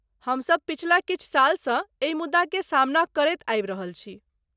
हम सभ पछिला किछु सालसँ एहि मुद्दाकेँ सामना करैत आबि रहल छी।